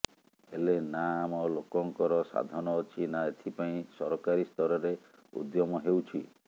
ହେଲେ ନା ଆମ େଲାକଙ୍କର ସାଧନ ଅଛି ନା ଏଥିପାଇଁ ସରକାରୀସ୍ତରରେ ଉଦ୍ୟମ େହଉଛି